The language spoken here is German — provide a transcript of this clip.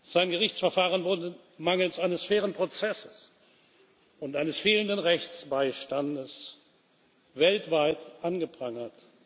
Sein Gerichtsverfahren wurde mangels eines fairen Prozesses und eines fehlenden Rechtsbeistands weltweit angeprangert.